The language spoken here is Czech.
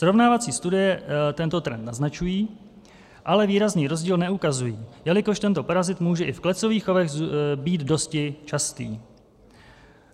Srovnávací studie tento trend naznačují, ale výrazný rozdíl neukazují, jelikož tento parazit může i v klecových chovech být dosti častý.